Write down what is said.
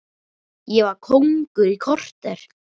Ég var kóngur í korter.